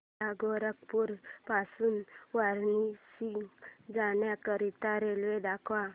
मला गोरखपुर पासून वाराणसी जाण्या करीता रेल्वे दाखवा